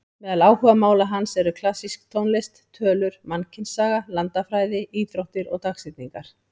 Meðal áhugamála hans eru klassísk tónlist, tölur, mannkynssaga, landafræði, íþróttir og dagsetningar.